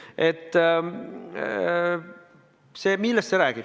Millest see räägib?